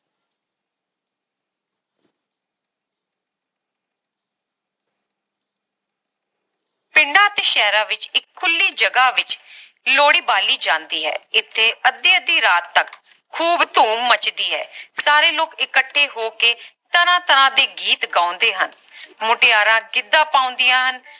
ਪਿੰਡਾਂ ਅਤੇ ਸ਼ਹਿਰਾਂ ਵਿਚ ਇਕ ਖੁੱਲੀ ਜਗਹ ਵਿਚ ਲੋਹੜੀ ਬਾਲੀ ਜਾਂਦੀ ਹੈ ਇਥੇ ਅੱਧੀ ਅੱਧੀ ਰਾਤ ਤਕ ਖੂਬ ਧੂਮ ਮੱਚਦੀ ਹੈ, ਸਾਰੇ ਲੋਕ ਇਕੱਠੇ ਹੋ ਕੇ ਤਰ੍ਹਾਂ ਤਰ੍ਹਾਂ ਦੇ ਗੀਤ ਗਾਉਂਦੇ ਹਨ ਮੁਟਿਆਰਾਂ ਗਿੱਧਾ ਪਾਉਂਦੀਆਂ ਹਨ